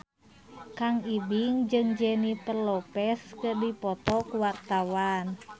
Kang Ibing jeung Jennifer Lopez keur dipoto ku wartawan